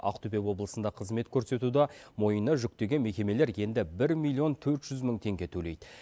ақтөбе облысында қызмет көрсетуді мойнына жүктеген мекемелер енді бір ммллион төрт жүз мың теңге төлейді